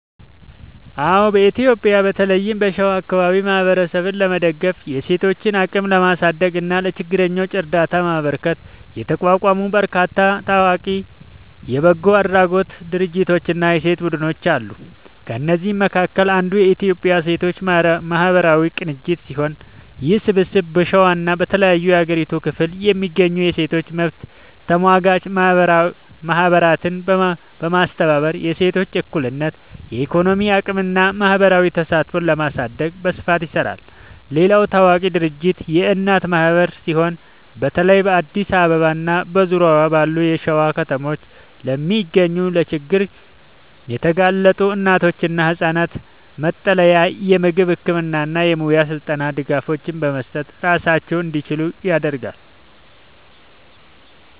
አዎ፣ በኢትዮጵያ በተለይም በሸዋ አካባቢ ማህበረሰብን ለመደገፍ፣ የሴቶችን አቅም ለማሳደግ እና ለችግረኞች እርዳታ ለማበርከት የተቋቋሙ በርካታ ታዋቂ የበጎ አድራጎት ድርጅቶችና የሴቶች ቡድኖች አሉ። ከእነዚህም መካከል አንዱ የኢትዮጵያ ሴቶች ማህበራት ቅንጅት ሲሆን፣ ይህ ስብስብ በሸዋና በተለያዩ የሀገሪቱ ክፍሎች የሚገኙ የሴቶች መብት ተሟጋች ማህበራትን በማስተባበር የሴቶችን እኩልነት፣ የኢኮኖሚ አቅምና ማህበራዊ ተሳትፎ ለማሳደግ በስፋት ይሰራል። ሌላው ታዋቂ ድርጅት የእናት ማህበር ሲሆን፣ በተለይ በአዲስ አበባና በዙሪያዋ ባሉ የሸዋ ከተሞች ለሚገኙ ለችግር የተጋለጡ እናቶችና ህጻናት መጠለያ፣ የምግብ፣ የህክምና እና የሙያ ስልጠና ድጋፎችን በመስጠት ራሳቸውን እንዲችሉ ያደርጋል።